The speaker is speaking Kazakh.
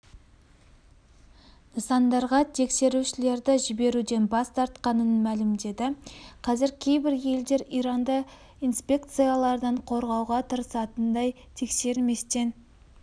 нысандарға тексерушілерді жіберуден бас тартқанын мәлімдеді қазір кейбір елдер иранды ірі инспекциялардан қорғауға тырысатындай тексерместен